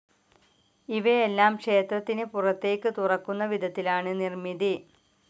ഇവയെല്ലാം ക്ഷേത്രത്തിന് പുറത്തേയ്ക്ക് തുറക്കുന്ന വിധത്തിലാണ് നിർമ്മിതി.